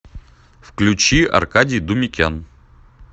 включи аркадий думикян